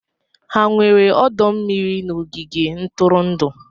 Ha nwere ọdọ mmiri n'ogige ntụrụndụ?